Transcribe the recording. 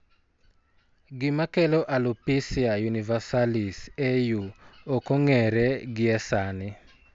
Gima kelo alopecia universalis (AU) ok ong'ere gie sani.